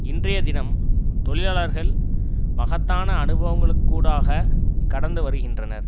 இன்றைய தினம் தொழிலாளர்கள் மகத்தான அனுபவங்களுக்கூடாக கடந்து வருகின்றனர்